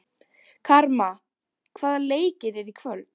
Karma, hvaða leikir eru í kvöld?